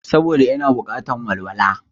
Saboda ina bukatar walwala